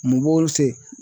Mun b'olu se